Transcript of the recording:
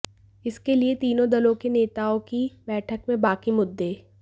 इसके लिए तीनों दलों के नेताओं की बैठक में बाकी मुद्दों